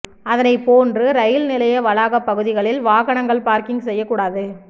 அதனை போன்று ரயில் நிலைய வளாக பகுதிகளில் வாகனங்கள் பார்க்கிங் செய்யக்கூடாது